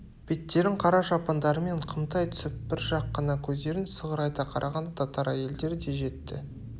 беттерін қара шапандарымен қымтай түсіп бір жақ қана көздерін сығырайта қараған татар әйелдері де жетті